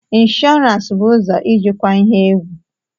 Insurance bụ ụzọ ijikwa ihe egwu.